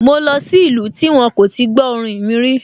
Mo lọ sí ìlú tí wón kò tí gbó orin mi rí